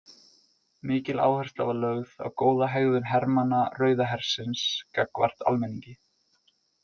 Mikil áhersla var lögð á góða hegðun hermanna Rauða hersins gagnvart almenningi.